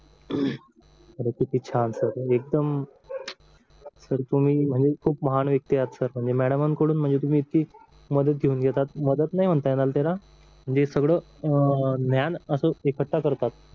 अरे किती छान सर तुम्ही एकदम सर तुम्ही म्हणजे खूप महान व्यक्ती आहात म्हणजे मॅडम कडून म्हणजे इतकी मदत घेऊन घेतात मदत नाही म्हणता येत तुला हे सगळं ज्ञान असं एकत्र करतात